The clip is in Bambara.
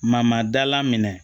Mama dala minɛ